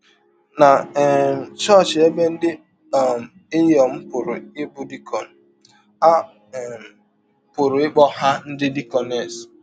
Na um chọọchị ebe ndị um inyọm pụrụ ịbụ dikọn, a um pụrụ ịkpọ ha ndị dikọnes.